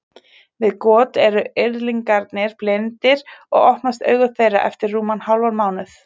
Við got eru yrðlingarnir blindir og opnast augu þeirra eftir rúman hálfan mánuð.